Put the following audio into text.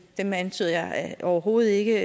dem antyder jeg overhovedet ikke